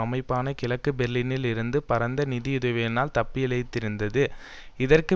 அமைப்பான கிழக்கு பெர்லினில் இருந்து பரந்த நிதி உதவியினால் தப்பிப்பிழைத்திருந்தது இதற்கு